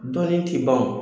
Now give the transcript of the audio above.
Dɔɔnin t'i ban wo !